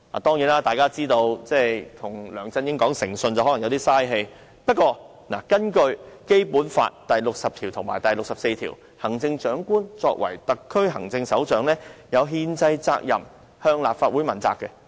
當然，大家也知道，與梁振英講誠信只是浪費氣力，但無論如何，根據《基本法》第六十條及第六十四條，行政長官作為特區行政首長，有憲制責任向立法會問責。